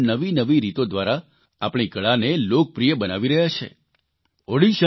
દેશભરના લોકો પણ નવી નવી રીતો દ્વારા આપણી કળાને લોકપ્રિય બનાવી રહ્યા છે